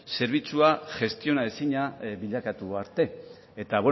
zerbitzua gestiona ezina bilakatu arte eta